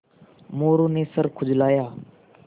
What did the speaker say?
मोरू ने सर खुजलाया